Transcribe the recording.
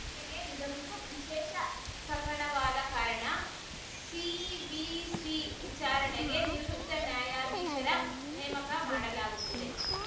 ತೆಗೆ ಇದೊಂದು ವಿಶೇಷ ಪ್ರಕರಣವಾದ ಕಾರಣ ಸಿವಿಸಿ ವಿಚಾರಣೆಗೆ ನಿವೃತ್ತ ನ್ಯಾಯಾಧೀಶರ ನೇಮಕ ಮಾಡಲಾಗುತ್ತಿದೆ